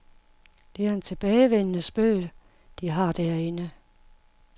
Det er en tilbagevendende spøg, de har derinde.